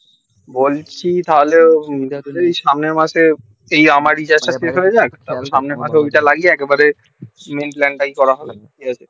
বলছি তাহলে সামনে মাসে তুই আমার recharge টা pay করে দেখ তাহলে সামনে মাসে ওই টা লাগিয়ে একেবারে main plan টাই করা হবে কি আছে